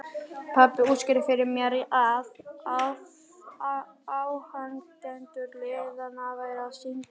Pabbi útskýrði fyrir mér að áhangendur liðanna væru að syngja.